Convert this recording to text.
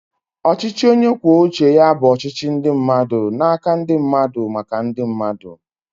Ọchịchị onye kwuo uche ya bụ ọchịchị ndị mmadụ n'aka ndị mmadụ, maka ndị mmadụ